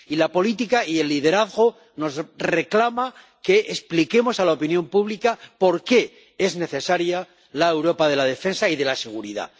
Y la política y el liderazgo nos reclaman que expliquemos a la opinión pública por qué es necesaria la Europa de la defensa y de la seguridad.